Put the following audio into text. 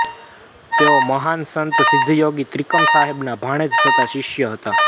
તેઓ મહાન સંત સિદ્ધયોગી ત્રિકમ સાહેબના ભાણેજ તથા શિષ્ય હતા